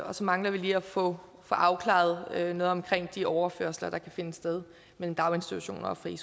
og så mangler vi lige at få afklaret noget omkring de overførsler der kan finde sted mellem daginstitutioner og frie